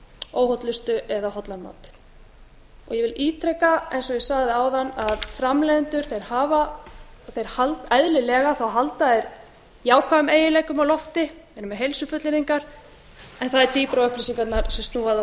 óhollustu eða hollan mat ég vil ítreka eins og ég sagði áðan að framleiðendur halda eðlilega jákvæðum eiginleikum á lofti eru með heilsufullyrðingar en það er dýpra á upplýsingarnar sem snúa að